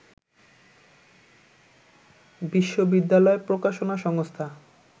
বিশ্ববিদ্যালয় প্রকাশনা সংস্থা